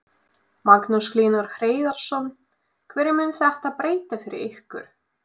Magnús Hlynur Hreiðarsson: Hverju mun þetta breyta fyrir ykkur?